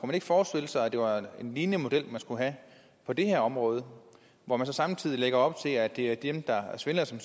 man ikke forestille sig at det var en lignende model man skulle have på det her område og hvor man så samtidig lægger op til at det er dem der er svindlere som